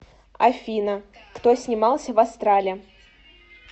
афина кто снимался в астрале